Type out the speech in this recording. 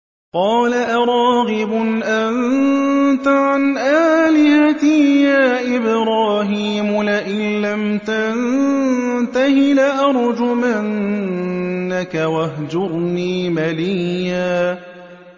قَالَ أَرَاغِبٌ أَنتَ عَنْ آلِهَتِي يَا إِبْرَاهِيمُ ۖ لَئِن لَّمْ تَنتَهِ لَأَرْجُمَنَّكَ ۖ وَاهْجُرْنِي مَلِيًّا